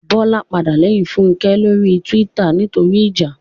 Bọ́lá padà lẹ́yìn Fúnkẹ́ lórí túwítà nítorí ìjà